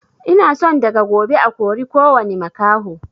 Ina son daga gobe a kori kowani makaho